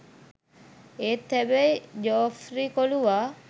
ඒත් හැබැයි ජෝෆ්රි කොලුවා